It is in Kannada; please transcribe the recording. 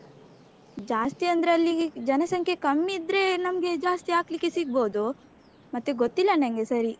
ಜಾಸ್ತಿ ಅಂದ್ರೆ ಅಲ್ಲಿ ಜನಸಂಖ್ಯೆ ಕಮ್ಮಿ ಇದ್ರೆ ನಮ್ಗೆ ಜಾಸ್ತಿ ಹಾಕ್ಲಿಕ್ಕೆ ಸಿಗ್ಬೋದು ಮತ್ತೆ ಗೊತ್ತಿಲ್ಲ ನನ್ಗೆ ಸರಿ.